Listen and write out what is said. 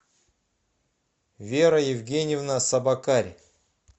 вера евгеньевна собакарь